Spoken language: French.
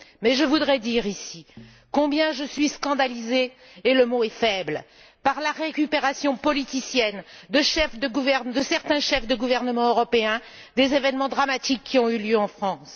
Je voudrais dire ici combien je suis scandalisée et le mot est faible par la récupération politicienne de certains chefs de gouvernement européens des événements dramatiques qui ont eu lieu en France.